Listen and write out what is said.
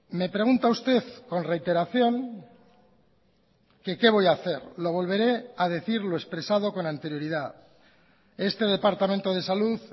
me pregunta usted con reiteración que qué voy a hacer lo volveré a decir lo expresado con anterioridad este departamento de salud